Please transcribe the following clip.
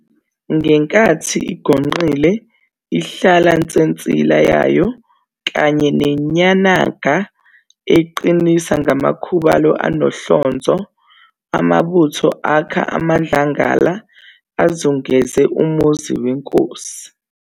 Ngenkathi igonqile ihlala nsensila yayo kanye nenyanaga eyiqinisa ngamakhubalo anohlonzo., Amabutho akha amadlangala azungenze umuzi wenkosi.